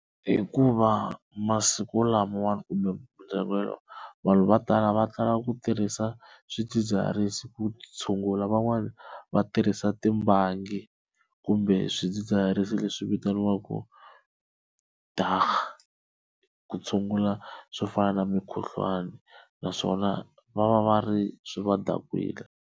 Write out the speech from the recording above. Hikuva masiku lamawani kumbe vanhu va tala va tala ku tirhisa swidzidziharisi ku tshungula, van'wana va tirhisa timbangi kumbe swidzidziharisi leswi vitaniwaku dagga ku tshungula swo fana na mikhuhlwani naswona va va va ri swi va dakwile.